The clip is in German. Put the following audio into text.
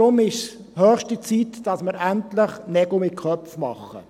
Daher ist es höchste Zeit, dass wir endlich Nägel mit Köpfen machen.